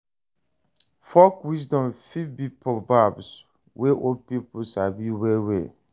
Folk wisdom fit be proverbs wey old pipo sabi well well